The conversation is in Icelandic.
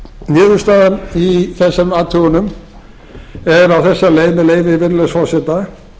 niðurstaðan í þessum athugun er á þessa leið með leyfi virðulegs forseta